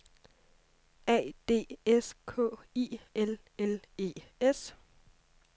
A D S K I L L E S